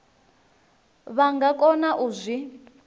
vha nga kona u zwi